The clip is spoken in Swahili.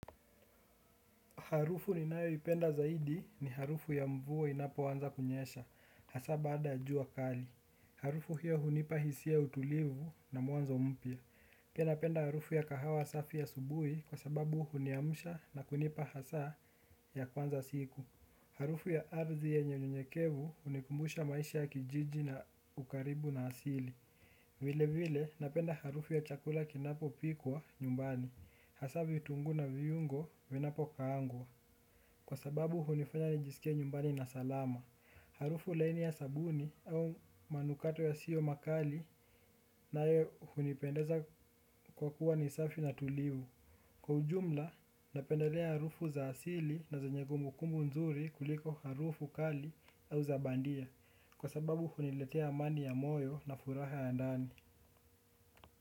Harufu ninayoipenda zaidi ni harufu ya mvua inapoanza kunyesha hasaa baada ya jua kali. Harufu hiyo hunipa hisia utulivu na muanzo mpya. Kena penda harufu ya kahawa safi ya asubui kwa sababu huniamusha na kunipa hasa ya kwanza siku. Harufu ya arzi yenye nyekevu unikumbusha maisha kijiji na ukaribu na asili. Vile vile napenda harufu ya chakula kinapo pikwa nyumbani. Hasa vitungu na viungo winapo kaangwa. Kwa sababu hunifanya nijisikie nyumbani na salama, harufu laini ya sabuni au manukato ya sio makali na yeo hunipendeza kwa kuwa nisafi na tulivu. Kwa ujumla, napendelea harufu za asili na zanye kumbu kumbu nzuri kuliko harufu kali au zabandia kwa sababu huniletea amani ya moyo na furaha ya ndani.